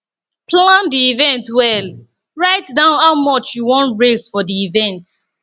plan di event well write down how much you won raise for di event